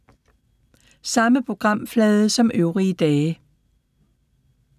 Samme programflade som øvrige dage